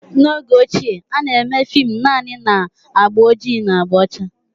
N'oge ochie, a na-eme fim naanị na agba ojii na agba ọcha